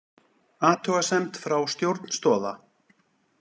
Athugasemd frá stjórn Stoða